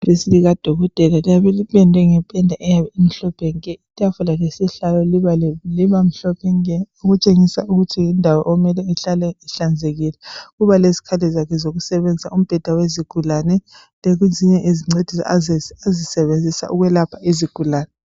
IDesk likadokotela lipendwe ngependa eyabe imhlophe nke! Itafula lesihlalo libale..... libamhlophe nke. Okutshengisa ukuthi yindawo okumele ihlale ihlanzekile. Uba lezikhathi zakhe zokusebenza imbheda yezigulane. Uba lezinyenezinceda....azisebenzise ukwelapha izigulane.